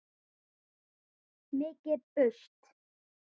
Mikið burst.